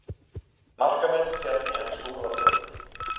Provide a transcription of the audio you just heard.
Markametið féll í ensku úrvalsdeildinni